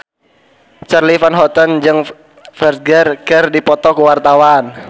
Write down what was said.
Charly Van Houten jeung Ferdge keur dipoto ku wartawan